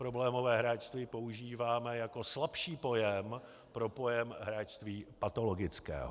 Problémové hráčství používáme jako slabší pojem pro pojem hráčství patologického.